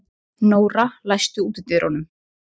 Samsetningin darraðardans er mun yngri.